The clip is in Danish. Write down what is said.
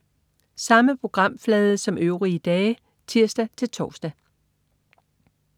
Samme programflade som øvrige dage (tirs-tors)